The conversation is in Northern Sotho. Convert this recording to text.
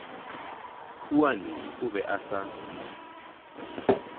huane o be a sa